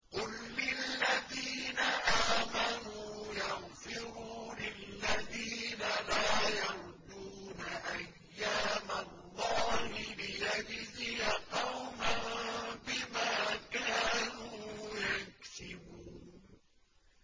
قُل لِّلَّذِينَ آمَنُوا يَغْفِرُوا لِلَّذِينَ لَا يَرْجُونَ أَيَّامَ اللَّهِ لِيَجْزِيَ قَوْمًا بِمَا كَانُوا يَكْسِبُونَ